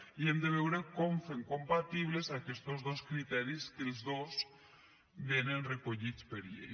i hem de veure com fem compatibles aquestos dos criteris que els dos vénen recollits per llei